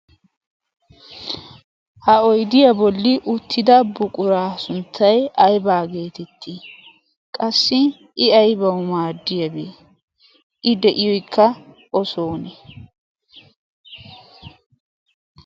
ha oydiyaa bolli uttida buqura sunttay aybaa geetettii qassi i aybawu maaddiyaabee i de'iyoykka o soone